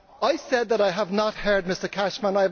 I said that I have not heard Mr Cashman